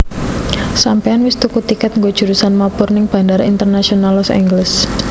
Sampeyan wis tuku tiket nggo jurusan mabur ning Bandara Internasional Los Angeles?